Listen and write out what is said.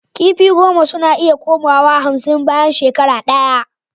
Kifi goma suna iya koma wa hamsin bayan shekara daya